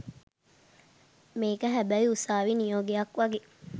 මේක හැබැයි උසාවි නියෝගයක් වගේ